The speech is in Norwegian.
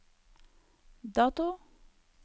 dato